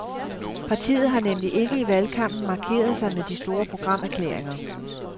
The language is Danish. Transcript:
Partiet har nemlig ikke i valgkampen markeret sig med de store programerklæringer.